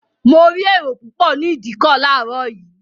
Mo rí èrò púpọ̀ ní ìdíkọ̀ láàárọ̀ yìí